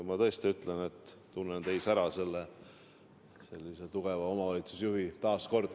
Ma tõesti ütlen taas, et tunnen teis ära tugeva omavalitsusjuhi.